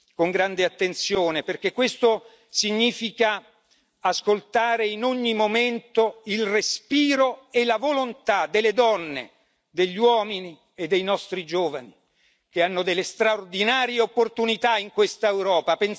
con grande attenzione, perché questo significa ascoltare in ogni momento il respiro e la volontà delle donne, degli uomini e dei nostri giovani che hanno delle straordinarie opportunità in questa Europa.